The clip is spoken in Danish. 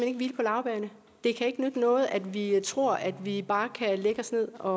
ikke hvile på laurbærrene det kan ikke nytte noget at vi tror at vi bare kan lægge os ned og